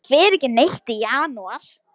Hann fer ekki neitt í janúar.